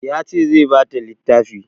Ya ce zai ba ta littafi